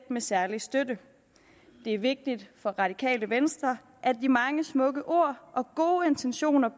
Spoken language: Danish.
med særlig støtte det er vigtigt for radikale venstre at de mange smukke ord og gode intentioner